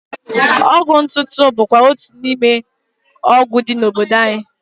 Ọgwụ ntụtụ bụkwụazị otu n'ime ọgwụ dị n'obodo anyị.